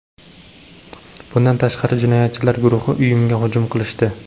Bundan tashqari, jinoyatchilar guruhi uyimga hujum qilishdi.